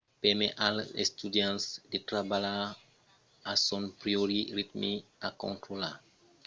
permet als estudiants de trabalhar a son pròpri ritme e de contrarotlar lo ritme de l’informacion pedagogica